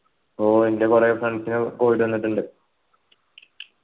ഓ ൻ്റെ കൊറേ friends ന് covid വന്നിട്ടുണ്ട്